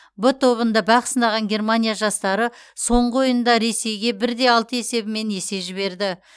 в тобында бақ сынаған германия жастары соңғы ойында ресейге бір де алты есебімен есе жіберді